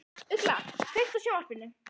Ugla, kveiktu á sjónvarpinu.